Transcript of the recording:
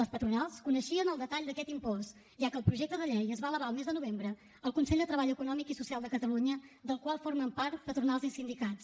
les patronals coneixien el detall d’aquest impost ja que el projecte de llei es va elevar al mes de novembre al consell de treball econòmic i social de catalunya del qual formen part patronals i sindicats